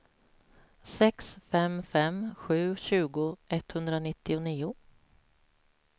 sex fem fem sju tjugo etthundranittionio